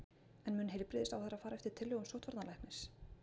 En mun heilbrigðisráðherra fara eftir tillögum sóttvarnalæknis?